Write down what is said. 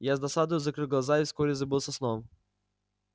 я с досадою закрыл глаза и вскоре забылся сном